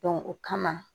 o kama